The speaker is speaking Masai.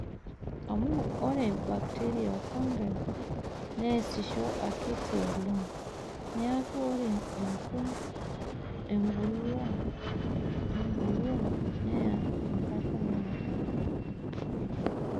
Amu ore bakiteria oofungi neesisho akiti oleng',neaku ore enkun embulia neya enkataa naado.